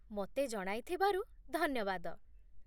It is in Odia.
ମୋତେ ଜଣାଇଥିବାରୁ ଧନ୍ୟବାଦ